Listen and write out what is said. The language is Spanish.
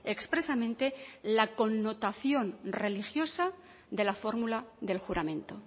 expresamente la connotación religiosa de la fórmula del juramento